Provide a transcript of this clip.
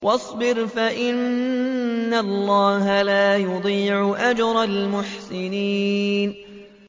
وَاصْبِرْ فَإِنَّ اللَّهَ لَا يُضِيعُ أَجْرَ الْمُحْسِنِينَ